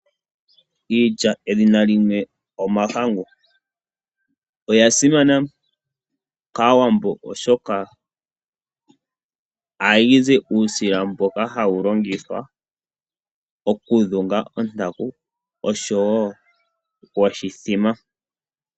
Iilya edhina limwe omahangu, oya simana kaawambo oshoka oha yizi uusila mboka hawu longithwa oku dhunga ontaku osho wo woshithima.